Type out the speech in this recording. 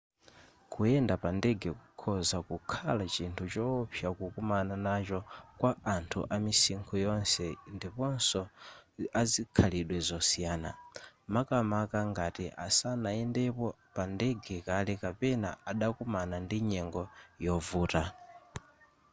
kuyenda pa ndege kukhoza kukhala chinthu chowopsa kukumana nacho kwa anthu amisinkhu yonse ndiponso azikhalidwe zosiyana makamaka ngati sanayendepo pa ndege kale kapena adakumana ndi nyengo yovuta